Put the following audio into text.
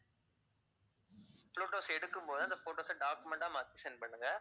photos எடுக்கும்போது அந்த photos அ document ஆ மாத்தி send பண்ணுங்க